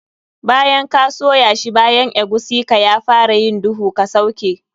Bayan ka soya shi bayan eguisi ka ya fara yin duhu, ka sauke.